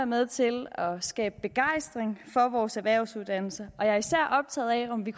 med til at skabe begejstring for vores erhvervsuddannelser og jeg er især optaget af om vi